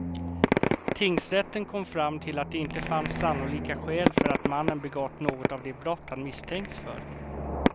Tingsrätten kom fram till att det inte fanns sannolika skäl för att mannen begått något av de brott han misstänkts för.